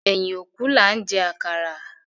Ẹyin òkú laa ń jẹ àkàrà